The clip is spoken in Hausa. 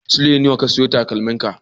Sule nawa ka siyo takalmin ka?